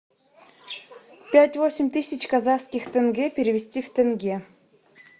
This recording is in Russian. пять восемь тысяч казахских тенге перевести в тенге